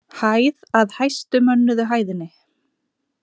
Hæð að hæstu mönnuðu hæðinni.